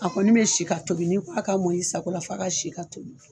A kɔni bɛ si ka tobi n'i k'a ka mɔni san kɔni la f'a ka si ka tobi.